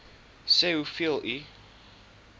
sê hoeveel u